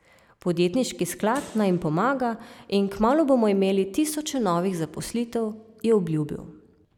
Podjetniški sklad naj jim pomaga in kmalu bomo imeli tisoče novih zaposlitev, je obljubil.